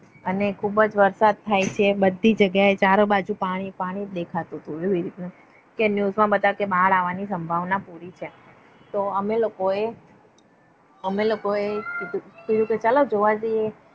અને ખુબજ વરસાદ થાય છે. બધી જગ્યા આ બાજુ ચારેય બાજુ પાણી પાણી દેખાતું હતું. એવી રીતના news માં બતવતા હતા કે બાણ આવ વાણી સંભાવના પુરી છે. તો અમે લોકોએ અમે લોકો ને થયુ કે ચાલો જોવા જઇયે.